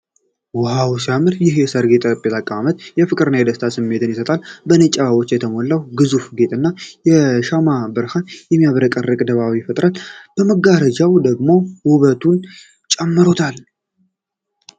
ዋው፣ ሲያምር! ይህ የሰርግ ጠረጴዛ አቀማመጥ የፍቅር እና የደስታ ስሜት ይሰጣል። በነጭ አበባዎች የተሞላው ግዙፍ ጌጥና የሻማ ብርሃን የሚያብረቀርቅ ድባብ ፈጥሯል። መጋረጃው ደግሞ ውበቱን ጨምሯል።